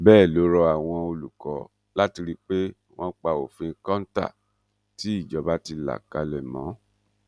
bẹẹ ló rọ àwọn olùkọ láti rí i pé wọn pa òfin kọńtà tí ìjọba ti là kalẹ mọ